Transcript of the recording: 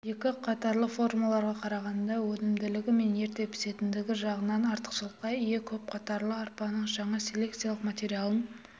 екі қатарлы формаларға қарағанда өнімділігі мен ерте пісетіндігі жағынан артықшылыққа ие көп қатарлы арпаның жаңа селекциялық материалын